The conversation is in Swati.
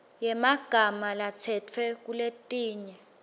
yemagama latsetfwe kuletinye